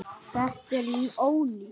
Þetta er ónýtt.